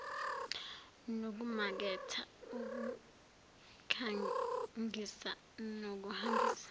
nokumaketha ukukhangisa nokuhambisa